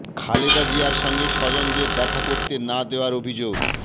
খালেদা জিয়ার সঙ্গে স্বজনদের দেখা করতে না দেওয়ার অভিযোগ